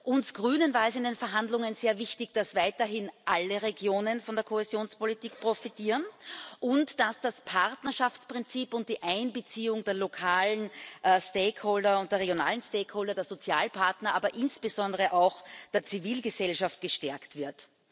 Uns Grünen war es in den Verhandlungen sehr wichtig, dass weiterhin alle Regionen von der Kohäsionspolitik profitieren und dass das Partnerschaftsprinzip und die Einbeziehung der lokalen und der regionalen stakeholder der Sozialpartner, aber insbesondere auch der Zivilgesellschaft gestärkt wird.